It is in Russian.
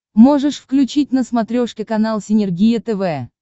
можешь включить на смотрешке канал синергия тв